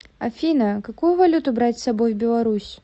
афина какую валюту брать с собой в беларусь